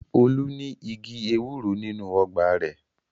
Olú ní igi ewúro nínú ọgbà rẹ̀.